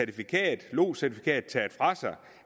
lodscertifikat taget fra sig